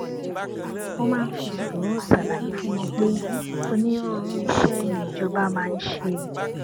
mo máa ń fi sùúrù ṣàlàyé fún wọn pé onírúurú iṣé ni ìjọba máa ń ṣe